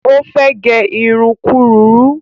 Ó fẹ́ gẹ irun kúrurú